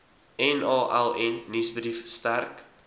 naln nuusbrief sterk